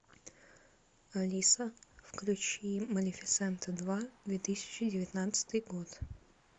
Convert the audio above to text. алиса включи малефисента два две тысячи девятнадцатый год